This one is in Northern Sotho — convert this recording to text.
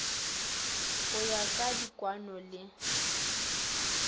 go ya ka dikwaano le